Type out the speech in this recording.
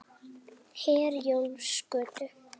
Herjólfsgötu